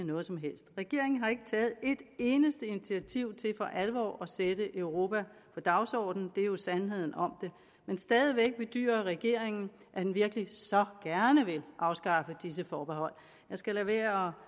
noget som helst regeringen har ikke taget et eneste initiativ til for alvor at sætte europa på dagsordenen det er jo sandheden om det men stadig væk bedyrer regeringen at den virkelig så gerne vil afskaffe disse forbehold jeg skal lade være